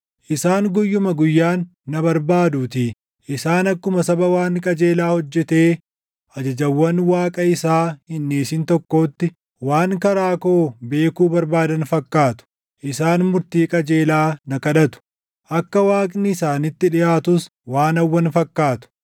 Isaan guyyuma guyyaan na barbaaduutii; isaan akkuma saba waan qajeelaa hojjetee ajajawwan Waaqa isaa hin dhiisin tokkootti waan karaa koo beekuu barbaadan fakkaatu. Isaan murtii qajeelaa na kadhatu; akka Waaqni isaanitti dhiʼaatus waan hawwan fakkaatu.